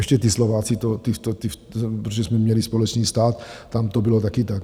Ještě ti Slováci, protože jsme měli společný stát, tam to bylo také tak.